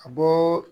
A bɔ